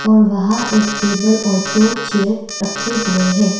और वहाँ एक टेबल और दो चेयर रखे हुए हैं।